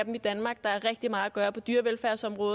gøre mere på dyrevelfærdsområdet